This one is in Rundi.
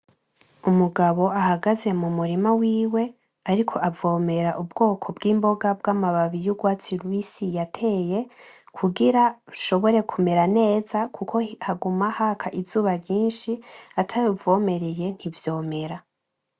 Umugabo ahagaze mu murima wiwe ariko avomera ubwoko bw'imboga bw'amababi y'urwatsi rubisi yateye kugira ishobore kumera neza kuko haguma haka izuba ryinshi atawuvomereye ntivyomera.